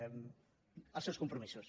els seus compromisos